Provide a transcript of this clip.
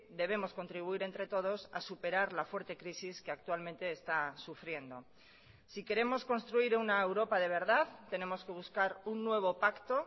debemos contribuir entre todos a superar la fuerte crisis que actualmente está sufriendo si queremos construir una europa de verdad tenemos que buscar un nuevo pacto